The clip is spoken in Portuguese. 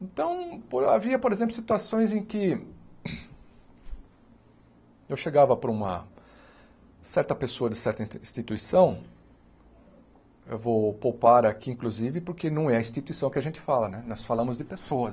Então, por havia, por exemplo, situações em que eu chegava para uma certa pessoa de certa instituição, eu vou poupar aqui, inclusive, porque não é instituição que a gente fala né, nós falamos de pessoas.